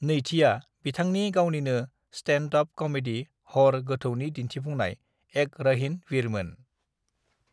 नैथिया बिथांनि गावनिनो स्टेन्ड-अप कमेडी हर गोथौनि दिन्थिफुंनाय "एक रहीन वीरमोन"।